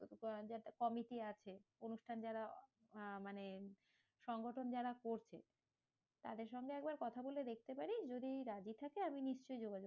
একটা committee আছে। অনুষ্ঠান যারা আহ মানে সংগঠন যারা করছে। তাদের সঙ্গে একবার কথা বলে দেখতে পারিস, যদি রাজি থাকে আমি নিশ্চয়ই যোগাযোগ